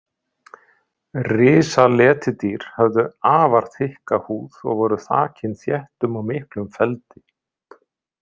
Risaletidýr höfðu afar þykka húð og voru þakin þéttum og miklum feldi.